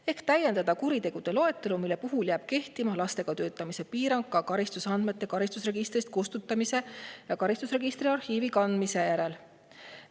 Palusime täiendada kuritegude loetelu, mille puhul jääb kehtima lastega töötamise piirang ka karistusandmete karistusregistrist kustutamise ja karistusregistri arhiivi kandmise järel.